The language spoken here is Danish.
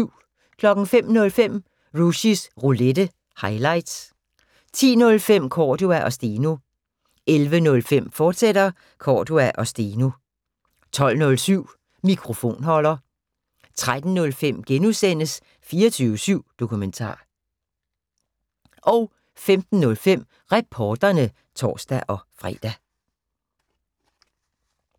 05:05: Rushys Roulette – highlights 10:05: Cordua & Steno 11:05: Cordua & Steno, fortsat 12:07: Mikrofonholder 13:05: 24syv Dokumentar (G) 15:05: Reporterne (tor-fre)